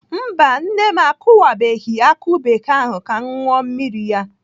Mba nne m akụwabeghị akụ bekee ahụ ka m ṅụọ mmiri ya.